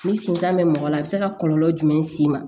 Ni sentan bɛ mɔgɔ la a bɛ se ka kɔlɔlɔ jumɛn s'i ma